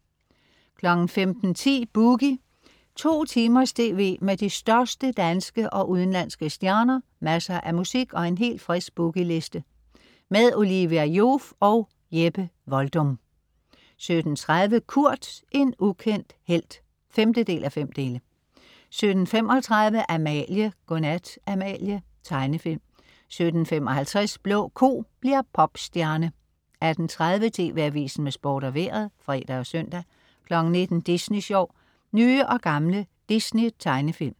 15.10 Boogie. 2 timers tv med de største danske og udenlandske stjerner, masser af musik og en helt frisk Boogie Liste. Olivia Joof og Jeppe Voldum 17.30 Kurt, en ukendt helt 5:5 17.35 Amalie. Godnat, Amalie. Tegnefilm 17.55 Blå ko bliver popstjerne 18.30 TV Avisen med Sport og Vejret (fre og søn) 19.00 Disney Sjov. Nye og gamle Disney tegnefilm